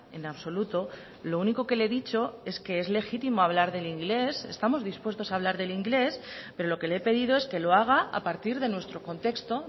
en absoluto lo único que le he dicho es que es legítimo hablar del inglés estamos dispuestos a hablar del inglés pero lo que le he pedido es que lo haga a partir de nuestro contexto